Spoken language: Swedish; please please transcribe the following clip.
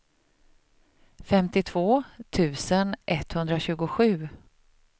femtiotvå tusen etthundratjugosju